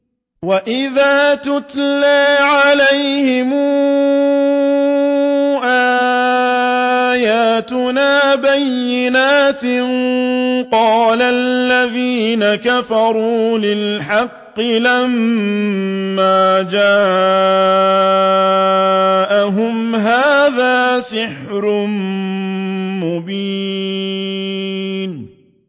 وَإِذَا تُتْلَىٰ عَلَيْهِمْ آيَاتُنَا بَيِّنَاتٍ قَالَ الَّذِينَ كَفَرُوا لِلْحَقِّ لَمَّا جَاءَهُمْ هَٰذَا سِحْرٌ مُّبِينٌ